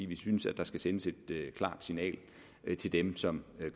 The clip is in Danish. vi synes at der skal sendes et klart signal til dem som